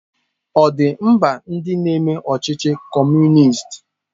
Ọ̀ dị mba ndị na-eme ọchịchị Kọmunist?